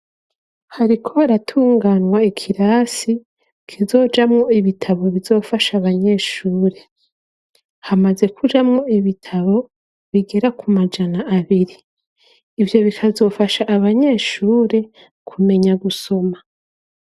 Hariko haratunganwa ikirasi kizojamwo ibitabo bizofasha abanyeshuri ,hamaze kujamwo ibitabo bigera ku majana abiri ,ivyo bikazofasha abanyeshure kumenya gusoma.